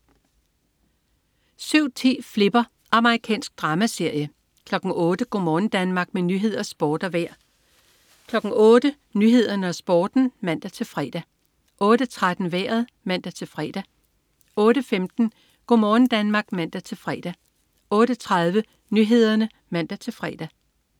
07.10 Flipper. Amerikansk dramaserie 08.00 Go' morgen Danmark. Med nyheder, sport og vejr 08.00 Nyhederne og Sporten (man-fre) 08.13 Vejret (man-fre) 08.15 Go' morgen Danmark (man-fre) 08.30 Nyhederne (man-fre)